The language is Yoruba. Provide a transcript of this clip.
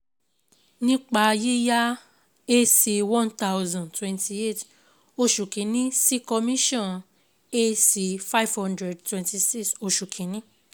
Nípa Yíyá cs]Ac one thousand twenty eight oṣù Kínní Sí Commission Ac five hundred twenty six, oṣù Kínní